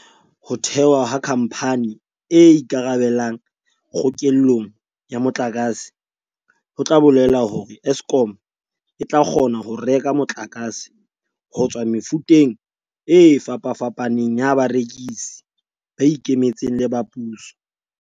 Ho thewa ha khampani e ikarabelang kgokellong ya motlakase ho tla bolela hore Eskom e tla kgona ho reka motlakase ho tswa mefuteng e fapafapaneng ya barekisi, ba ikemetseng le ba puso.